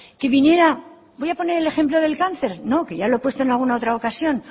que viniera no voy a poner el ejemplo del cáncer no que ya lo he puesto en alguna otra ocasión